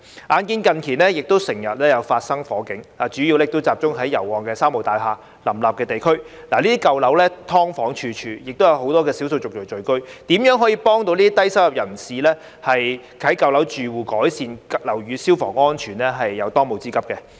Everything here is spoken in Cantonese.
眼見近年經常發生火警，主要集中在油麻地及旺角"三無"大廈林立的地區，這些舊樓"劏房"處處，亦有很多少數族裔聚居，如何可以幫助這些低收入人士及舊樓住戶改善樓宇消防安全是當務之急。